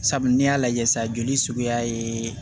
Sabu n'i y'a lajɛ sa joli suguya ye